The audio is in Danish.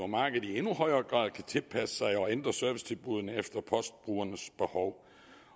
markedet i endnu højere grad kan tilpasse sig og ændre servicetilbuddene efter postbrugernes behov